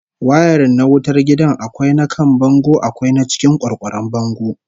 Wayarin na wutar gida akwai na kan bango akwai na cikin kwarkwaron bango